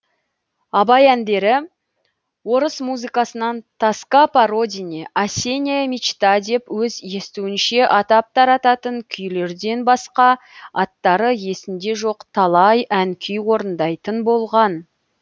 абай әндері орыс музыкасынан тоска по родине осенняя мечта деп өз естуінше атап тарататын күйлерден басқа аттары есінде жоқ талай ән күй орындайтын болған